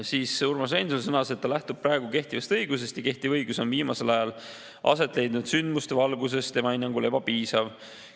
Siis Urmas Reinsalu sõnas, et ta lähtub praegu kehtivast õigusest ja kehtiv õigus on viimasel ajal aset leidnud sündmuste valguses tema hinnangul ebapiisav.